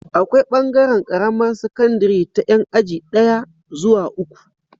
Akwai bangaran Karamar sakandari ta Yan aji daya zuwa uku